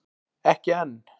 Ekki enn!